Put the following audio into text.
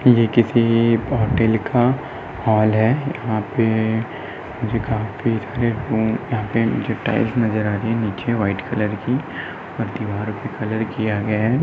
ये किसी होटल का हॉल है । यहाँ पे मुझे काफी सारे रूम यहाँ पे मुझे टाइल्स नजर आ रही है ।नीचे व्हाइट कलर की दीवाल पे कलर किया गया है ।